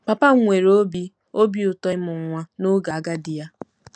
Papa m nwere obi obi ụtọ ịmụ nwa n'oge agadi ya.